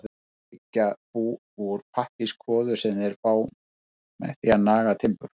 Þeir byggja bú úr pappírskvoðu sem þeir fá með því að naga timbur.